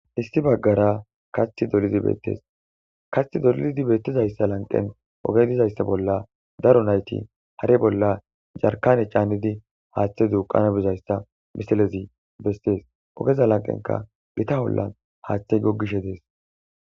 issi baggara katthi dolizi beettes katthi dololidi beettizayssa lanqen oge dizayssa bolla daro nayti hare bolla jarkane caannidi haaththe duuqana bizayssa misalezi bestees ogeza lanqenka gita hollan haaththe gogishe dees